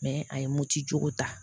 a ye moti joko ta